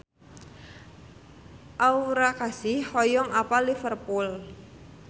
Aura Kasih hoyong apal Liverpool